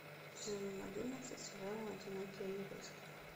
сезон одиннадцать сериала одинокий юрист